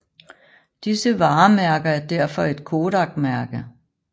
Disse varemærker er derfor et Kodakmærke